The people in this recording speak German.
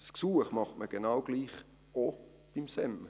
Das Gesuch macht man genau gleich auch vonseiten des SEM.